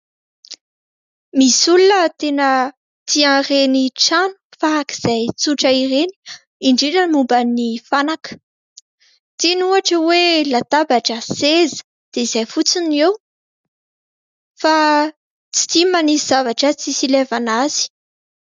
Misy olona tena tian'ireny trano faran'izay trotra ireny. Indrindra momba ny fanaka tiany ohatra hoe latabatra sy seza dia izay fotsiny eo, fa tsy tiany manisy zavatra tsy hilevana azy.